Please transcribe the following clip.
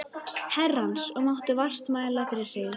Herrans, og máttu vart mæla fyrir hryggð.